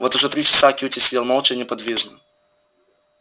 вот уже три часа кьюти сидел молча и неподвижно